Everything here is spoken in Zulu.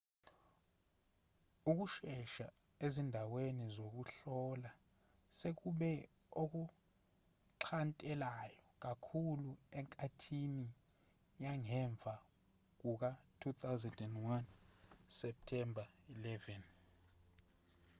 ukusesha ezindaweni zokuhlola sekube okuxhantelayo kakhulu enkathini yangemva kuka-2001 septemba 11